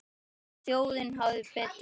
En þjóðin hafði betur.